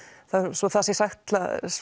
svo það sé sagt